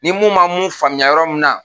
Ni mun ma mun faamuya yɔrɔ min na